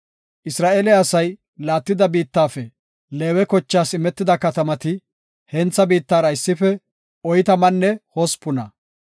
Isra7eele asay laattida biittafe Leewe kochaas imetida katamati hentha biittara issife oytamanne hospuna.